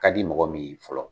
Ka di mɔgɔ min ye fɔlɔ.